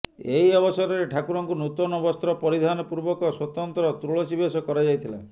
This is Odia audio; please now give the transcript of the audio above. ଏହି ଅବସରରେ ଠାକୁରଙ୍କୁ ନୂତନ ବସ୍ତ୍ର ପରିଧାନ ପୂର୍ବକ ସ୍ୱତନ୍ତ୍ର ତୁଳସୀବେଶ କରାଯାଇଥିଲା